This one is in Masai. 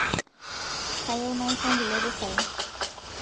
kayieu naisho nkulie pisai